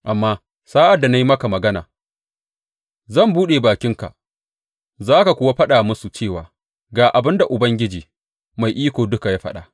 Amma sa’ad da na yi maka magana, zan buɗe bakinka za ka kuwa faɗa musu cewa, Ga abin da Ubangiji Mai Iko Duka ya faɗa.’